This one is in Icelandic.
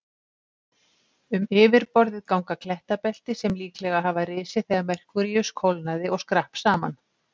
Um yfirborðið ganga klettabelti sem líklega hafa risið þegar Merkúríus kólnaði og skrapp saman.